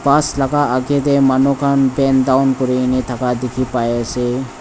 Bus laga agae dae manu khan bent down kurineh thaka dekhe pai ase.